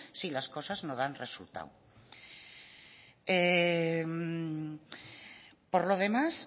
si las cosas no dan resultado por lo demás